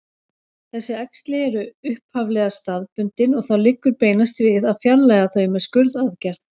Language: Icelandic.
Þessi æxli eru upphaflega staðbundin og þá liggur beinast við að fjarlægja þau með skurðaðgerð.